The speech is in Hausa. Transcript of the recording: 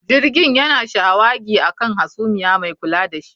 Jirgin yana shawagi a kan hasumiya mai kula da shi